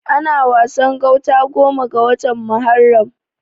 Ana Wasan gauta goma ga watan Muharram.